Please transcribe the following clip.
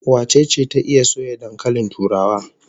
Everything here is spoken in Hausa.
Wace ce ta iya soya dankalin turawa?